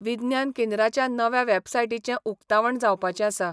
विज्ञान केंद्राच्या नव्या वॅबसायटीचें उकतावण जावपाचें आसा.